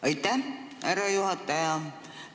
Aitäh, härra juhataja!